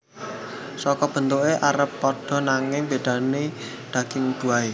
Saka bentuké arep padha nanging bedané ing daging buahé